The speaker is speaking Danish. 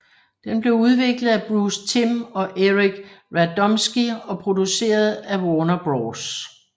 Den blev udviklet af Bruce Timm og Eric Radomski og produceret af Warner Bros